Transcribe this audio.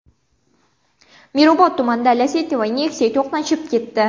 Mirobod tumanida Lacetti va Nexia to‘qnashib ketdi.